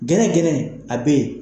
Gɛrɛgɛrɛ a bɛ yen.